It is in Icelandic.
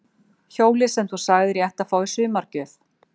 Hjólið sem þú sagðir að ég ætti að fá í sumargjöf.